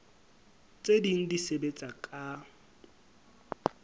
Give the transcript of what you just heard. tse ding di sebetsa ka